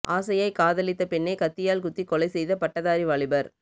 ஆசையாய் காதலித்த பெண்ணை கத்தியால் குத்தி கொலை செய்த பட்டதாரி வாலிபர்